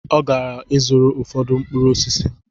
Ọ gara ịzụrụ ụfọdụ mkpụrụ osisi